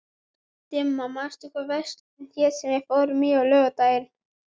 Dimma, manstu hvað verslunin hét sem við fórum í á laugardaginn?